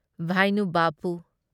ꯚꯥꯢꯅꯨ ꯕꯥꯞꯄꯨ